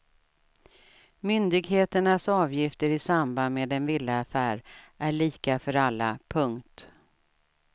Myndigheternas avgifter i samband med en villaaffär är lika för alla. punkt